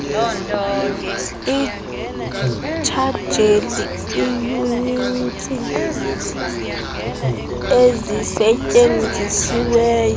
itshajele iiyunitsi ezisetyenzisiweyo